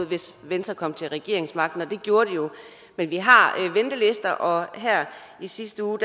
hvis venstre kom til regeringsmagten og det gjorde de jo men vi har ventelister og her i sidste uge